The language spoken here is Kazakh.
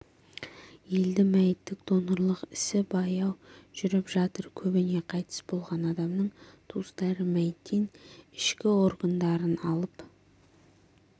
елде мәйіттік донорлық ісі баяу жүріп жатыр көбіне қайтыс болған адамның туыстары мәйіттен ішкі органдарын алып